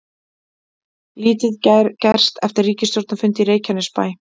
Lítið gerst eftir ríkisstjórnarfund í Reykjanesbæ